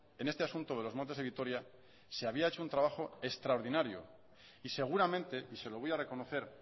en este asunto de los montes de vitoria se había hechoun trabajo extraordinario y seguramente y se lo voy a reconocer